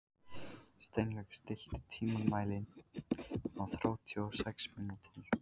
Steinlaug, stilltu tímamælinn á þrjátíu og sex mínútur.